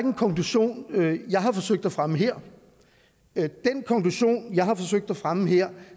en konklusion jeg har forsøgt at fremme her den konklusion jeg har forsøgt at fremme her